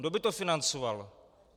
Kdo by to financoval?